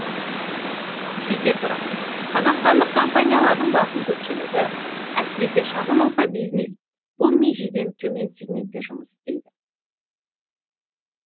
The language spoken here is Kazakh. сөйте тұра қазақстандық компаниялардың басым көпшілігі әсіресе шағын орта бизнес бұл межеден төмен сигментте жұмыс істейді